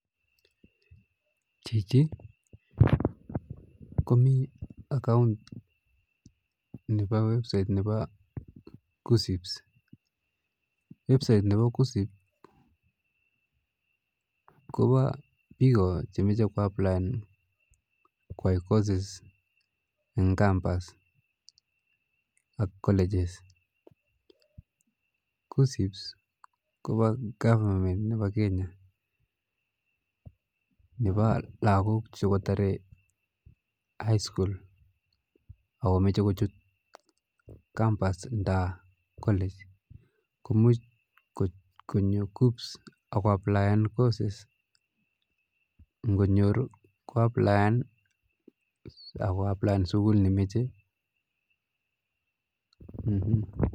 Chichii komii account nebo website nebo kuccps, website nebo kuccps kobo Bichon moche kwaplaen koyai koses en kambas ak koleches, kuccps kobo gavament nebo Kenya nebo lokok chekotore high school] ak komoche kochut kambas nan kolech, komuch konyo kuccps ak ko applaen koses ng'onyoru ko applaen ak ko applaen sukul nemoche.